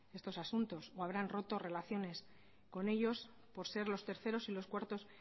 estos asuntos o habrán roto relaciones con ellos por ser los terceros y los cuartos